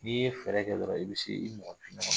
N'i ye fɛɛrɛ kɛ dɔrɔn i bi se i mɔgɔnifin ɲɔgɔn na.